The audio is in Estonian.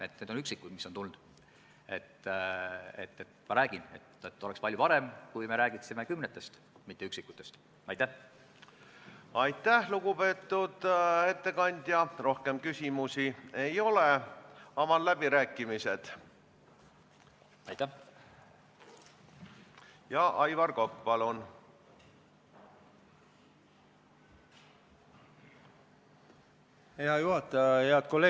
Sellega on nüüd niimoodi, et see toitlustamise kohustus, millest me räägime, on raudteeveo-ettevõtja kohustus, aga infrastruktuuri remondib infrastruktuuriettevõte ja nende kahe vahelises lepingus, nagu ka eelnevalt oli öeldud, sellist kohustust ei ole.